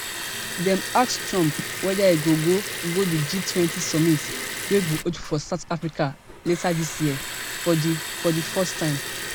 dem ask trump weda e go go di gtwenty summit wey go hold for south africa later dis year for di for di first time